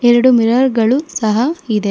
ಎರಡು ಮಿರರ್ ಗಳು ಸಹ ಇದೆ.